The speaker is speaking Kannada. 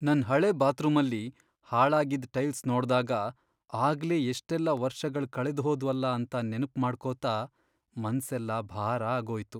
ನನ್ ಹಳೆ ಬಾತ್ರೂಮಲ್ಲಿ ಹಾಳಾಗಿದ್ ಟೈಲ್ಸ್ ನೋಡ್ದಾಗ, ಆಗ್ಲೇ ಎಷ್ಟೆಲ್ಲ ವರ್ಷಗಳ್ ಕಳೆದ್ಹೋದ್ವಲ ಅಂತ ನೆನ್ಪ್ ಮಾಡ್ಕೋತಾ ಮನ್ಸೆಲ್ಲ ಭಾರ ಆಗೋಯ್ತು.